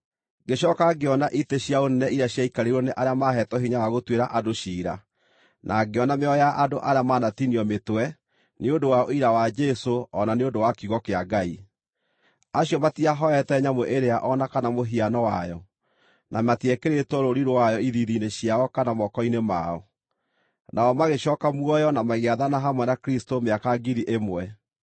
Ngĩcooka ngĩona itĩ cia ũnene iria ciaikarĩirwo nĩ arĩa maaheetwo hinya wa gũtuĩra andũ ciira. Na ngĩona mĩoyo ya andũ arĩa manatinio mĩtwe nĩ ũndũ wa ũira wa Jesũ o na nĩ ũndũ wa kiugo kĩa Ngai. Acio matiahooete nyamũ ĩrĩa o na kana mũhiano wayo, na matiekĩrĩtwo rũũri rwayo ithiithi-inĩ ciao kana moko-inĩ mao. Nao magĩcooka muoyo na magĩathana hamwe na Kristũ mĩaka ngiri ĩmwe.